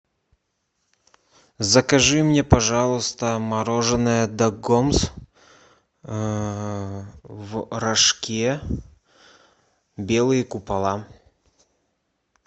закажи мне пожалуйста мороженное дагомс в рожке белые купола